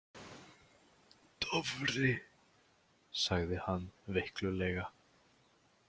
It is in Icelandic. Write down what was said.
Dofri, sagði hann veiklulega.